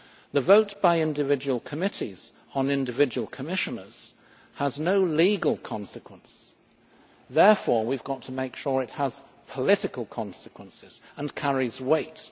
The vote by individual committees on individual Commissioners has no legal consequence. Therefore, we have to make sure it has political consequences and carries weight.